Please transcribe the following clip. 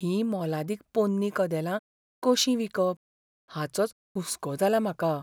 हीं मोलादीक पोन्नी कदेलां कशीं विकप हाचोच हुस्को जालां म्हाका.